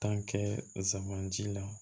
kɛ zamɛ la